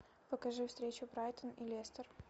покажи встречу брайтон и лестер